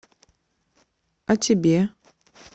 а тебе